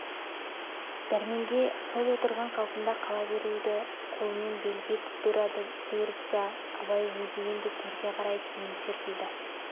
дәрменге сол отырған қалпында қала беруді қолымен белгі етіп бұйырды да абай өзі енді төрге қарай кейін серпілді